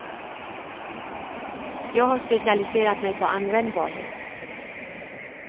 Jag har specialiserat mig på användbarhet.